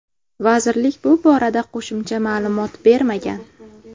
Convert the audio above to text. Vazirlik bu borada qo‘shimcha ma’lumot bermagan.